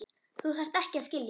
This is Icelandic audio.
Þú þarft ekki að skilja.